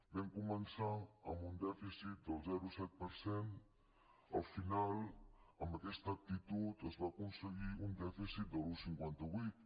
vam començar amb un dèficit del zero coma set per cent al final amb aquesta actitud es va aconseguir un dèficit de l’un coma cinquanta vuit